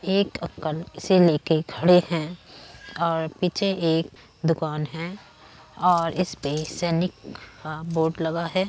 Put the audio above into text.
एक से लेके खड़े हैं और पीछे एक दुकान है और इसपे सैनिक का बोर्ड लगा है।